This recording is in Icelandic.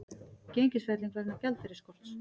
Gengisfelling vegna gjaldeyrisskorts